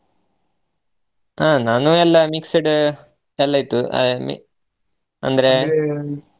ಹಾ ನಾನು ಎಲ್ಲಾ mixed ಎಲ್ಲಾ ಇತ್ತು ಐ~ ಮಿ~ ಅಂದ್ರೆ .